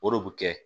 O de bɛ kɛ